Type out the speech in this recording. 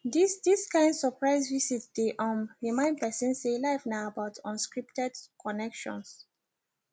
dis dis kain surprise visit dey um remind person say life na about unscripted connections